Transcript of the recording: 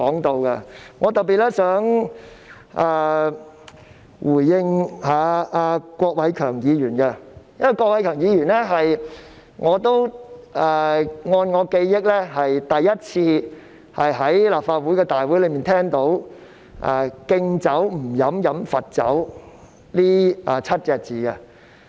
我想特別回應郭偉强議員，因為根據我的記憶，我是首次在立法會聽到"敬酒不喝喝罰酒"這7個字。